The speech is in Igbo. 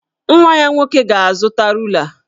Nwa ya nwoke ga-azụta rula